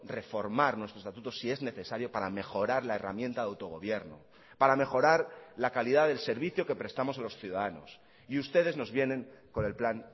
reformar nuestro estatuto si es necesario para mejorar la herramienta de autogobierno para mejorar la calidad del servicio que prestamos a los ciudadanos y ustedes nos vienen con el plan